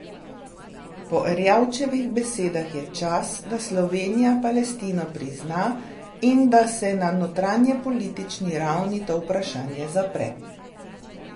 Po Erjavčevih besedah je čas, da Slovenija Palestino prizna in da se na notranjepolitični ravni to vprašanje zapre.